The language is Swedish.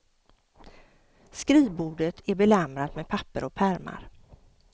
Skrivbordet är belamrat med papper och pärmar.